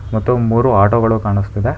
ಮತ್ತು ಮೂರು ಆಟೋ ಗಳು ಕಾಣಿಸ್ತಿದೆ.